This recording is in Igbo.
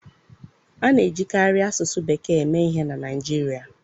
A na-ejikarị asụsụ bekee eme ihe na Naịjirịa.